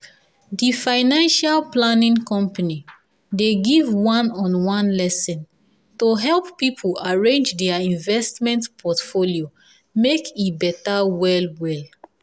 the financial planning company dey give one-on-one lesson to help people arrange their investment portfolio make e better well well.